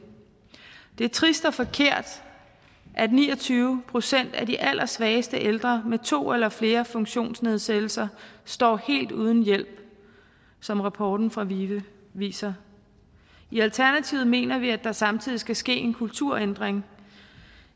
er trist og forkert at ni og tyve procent af de allersvageste ældre med to eller flere funktionsnedsættelser står helt uden hjælp som rapporten fra vive viser i alternativet mener vi at der samtidig skal ske en kulturændring